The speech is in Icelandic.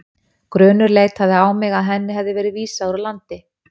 Grunur leitaði á mig að henni hefði verið vísað úr landi.